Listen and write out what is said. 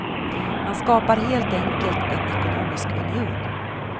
Man skapar helt enkelt en ekomomisk union.